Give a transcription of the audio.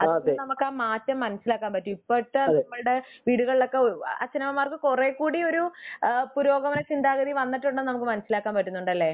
മാറ്റം നമ്മക്ക് മനസ്സിലാക്കാൻ പാട്ടും ഇപ്പോഴത്തെ നമ്മളുടെ വീടുകളിലൊക്കെ അച്ഛനമ്മമാർക്ക് കുറേകൂടി യൊരു പുരോഗമന ചിന്താഗതി വന്നിട്ടുണ്ടെന്ന് നമ്മക് മനസ്സിലാക്കാൻ പറ്റുന്നുണ്ടല്ലേ